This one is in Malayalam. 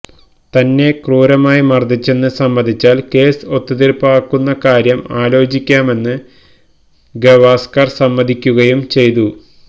തന്നെ ക്രൂരമായി മര്ദിച്ചെന്ന് സമ്മതിച്ചാല് കേസ് ഒത്തുതീര്പ്പാക്കുന്ന കാര്യം ആലോചിക്കാമെന്ന് ഗവാസ്കര് സമ്മതിക്കുകയും ചെയ്തു